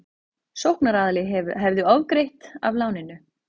Sóknaraðili hefði ofgreitt af láninu